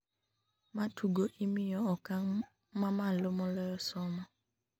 ma tugo imiyo okang' mamalo moloyo somo